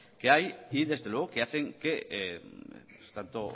que hay y desde luego que hacen que tanto